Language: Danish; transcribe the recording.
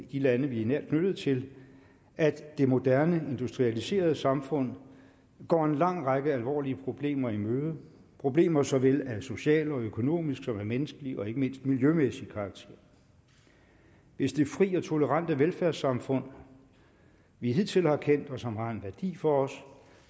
de lande vi er nært knyttet til at det moderne industrialiserede samfund går en lang række alvorlige problemer i møde problemer såvel af social og økonomisk som af menneskelig og ikke mindst miljømæssig karakter hvis det fri og tolerante velfærdssamfund vi hidtil har kendt og som har værdi for os